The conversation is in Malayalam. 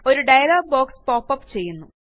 ഒരു ഡയലോഗ് ബോക്സ് പോപ്പപ്പ് ചെയ്യുന്നു